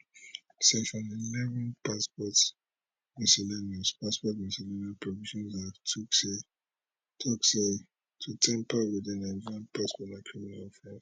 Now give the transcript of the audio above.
section 1 1 passport miscellaneous passport miscellaneous provisions act tok say to tamper wit di nigerian passport na criminal offence